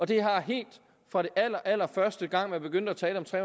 det har helt fra den allerallerførste gang man begyndte at tale om tre